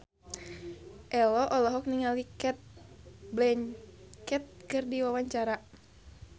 Ello olohok ningali Cate Blanchett keur diwawancara